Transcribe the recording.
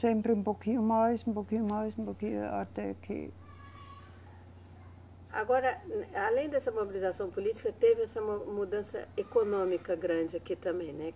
Sempre um pouquinho mais, um pouquinho mais, um pouquinho até que. Agora, além dessa mobilização política, teve essa mu, mudança econômica grande aqui também, né?